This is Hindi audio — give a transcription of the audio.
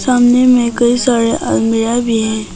सामने में कई सारे अलमीरा भी हैं।